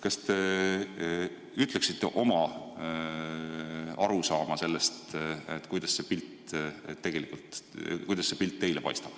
Kas te ütleksite oma arusaama sellest, kuidas see pilt tegelikult teile paistab?